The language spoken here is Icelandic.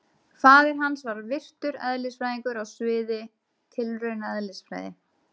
Faðir hans var virtur eðlisfræðingur á sviði tilraunaeðlisfræði.